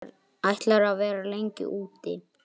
Ætlarðu að vera lengi úti?